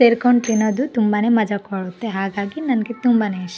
ಸೇರ್ಕೊಂಡ್ ತಿನ್ನೋದು ತುಂಬಾನೇ ಮಜಾ ಕೊಡುತ್ತೆ ಹಾಗಾಗಿ ನನಗೆ ತುಂಬಾನೇ ಇಷ್ಟ--